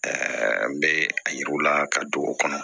n bɛ a yiriw la ka don o kɔnɔ